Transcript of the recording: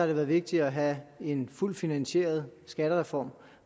det været vigtigt at have en fuldt finansieret skattereform